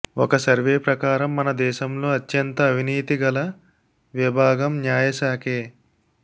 ఒక సర్వే ప్రకారం మన దేశంలో అత్యంత అవినీతి గల విభాగంన్యాయశాఖే